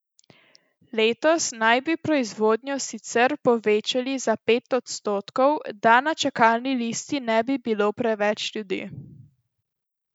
Letos naj bi proizvodnjo sicer povečali za pet odstotkov, da na čakalni listi ne bi bilo preveč ljudi.